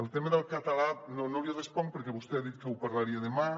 el tema del català no l’hi responc perquè vostè ha dit que ho parlaria demà